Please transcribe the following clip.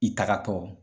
I tagatɔ